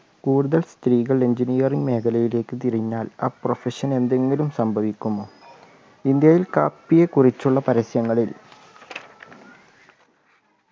കൂടുതൽ സ്ത്രീകൾ engineering മേഖലയിലേക്ക് തിരിഞ്ഞാൽ ആ profession ന് എന്തെങ്കിലും സംഭവിക്കുമോ ഇന്ത്യയിൽ കാപ്പിയെക്കുറിച്ചുള്ള പരസ്യങ്ങളിൽ